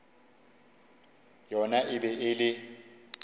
yona e be e le